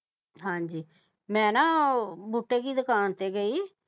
ਹਾਂਜੀ ਮੈਂ ਨਾ ਉਹ ਬੂਟੇ ਜੀ ਦੁਕਾਨ ਤੇ ਗਈ